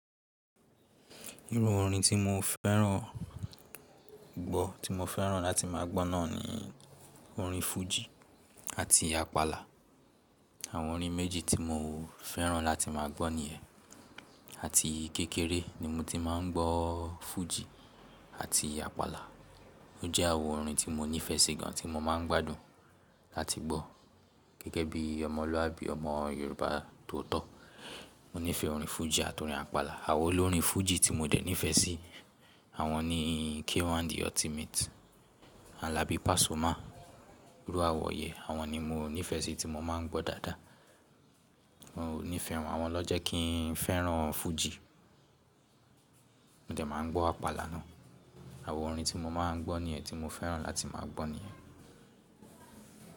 Irú orin tí mo fẹ́ràn gbọ́, tí mo fẹ́ràn láti má a gbọ́ náà ni orin fújì àti àpàlà. Àwọn orin méjì tí mo fẹ́ràn láti má a gbọ́ nìyẹn. Àti kékeré ni mo ti máa ń gbọ́ fújì àti àpàlà. Ó jẹ́ àwọn orin tí mo nífẹ̀ẹ́ sí gan tí mo máa ń gbádùn láti gbọ́. Gẹ́gẹ́ bí ọmọlúàbí, ọmọ Yorùbá tó tọ̀, mo nífẹ̀ẹ́ orin fújì àti orin àpàlà. Àwọn olórin fújì tí mo dẹ̀ nífẹ̀ẹ́ sí, àwọn ni K1 the ultimate, Alabi Pasuma, Rúàwọ̀ Yẹ. Àwọn ni mo nífẹ̀ẹ́ sí tí mo máa ń gbọ́ dáadáa. Mo nífẹ̀ẹ́ wọn, àwọn ló jẹ́ kí n fẹ́ràn fújì. Mo dẹ̀ máa gbọ́ àpàlà náà. Àwọn orin tí mo máa ń gbọ́ nìyẹn, tí mo fẹ́ràn láti máa gbọ́ nìyẹn.